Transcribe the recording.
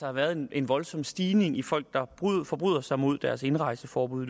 har været en voldsom stigning i folk der forbryder sig mod deres indrejseforbud